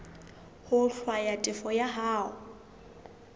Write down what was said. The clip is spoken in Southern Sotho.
ho hlwaya tefo ya hao